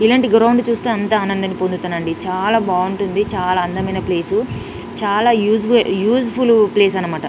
ఇలాంటి గ్రౌండ్ చూస్తే అంతా ఆనందాన్ని పొందుతానండి చాల బాగుంటుంది చాల అందమైన ప్లేస్ చాల యూస్ వే యూసేఫుల్ ప్లేస్ అనమాట .